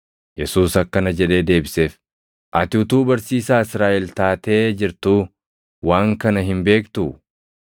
Yesuus akkana jedhee deebiseef; “Ati utuu barsiisaa Israaʼel taatee jirtuu waan kana hin beektuu?